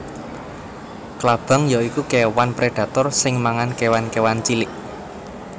Klabang ya iku kéwan predator sing mangan kéwan kéwan cilik